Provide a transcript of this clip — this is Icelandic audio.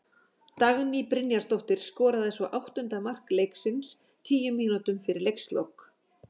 Dagný Brynjarsdóttir skoraði svo áttunda mark leiksins tíu mínútum fyrir leikslok.